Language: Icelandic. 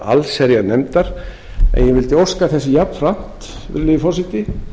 allsherjarnefndar en ég vildi óska þess jafnframt virðulegi forseti